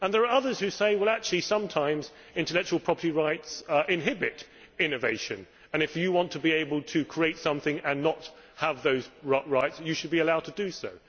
There are others who say that, actually, sometimes intellectual property rights inhibit innovation, and that if you want to be able to create something and not have those rights, you should be allowed to do so.